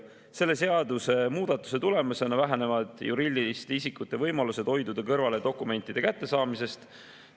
Selle seadusemuudatuse tulemusena vähenevad juriidiliste isikute võimalused hoiduda kõrvale dokumentide kättesaamisest.